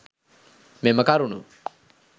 මෙම කරුණු